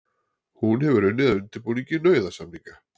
Hún hefur unnið að undirbúningi nauðasamninga